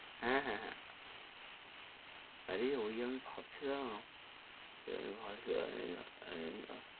হেঁ, হেঁ, হেঁ আরে! ওই আমি ভাবছিলাম। ,